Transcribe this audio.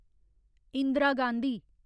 Indira Gandhi